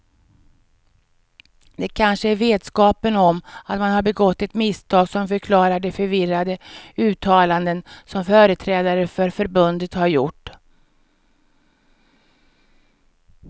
Det kanske är vetskapen om att man har begått ett misstag som förklarar de förvirrade uttalanden som företrädare för förbundet har gjort.